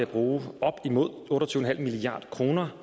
bruge otte og tyve milliard kroner